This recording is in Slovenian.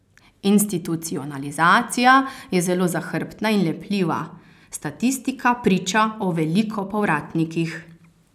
Institucionalizacija je zelo zahrbtna in lepljiva, statistika priča o veliko povratnikih.